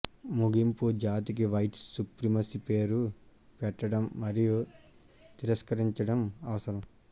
ముగింపు జాతికి white supremacy పేరు పెట్టడం మరియు తిరస్కరించడం అవసరం